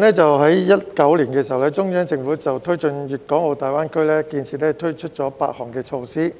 在2019年的時候，中央政府就推進粵港澳大灣區建設推出了8項措施，